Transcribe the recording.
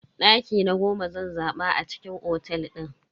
Daki na goma zan zaba a cikin otel din.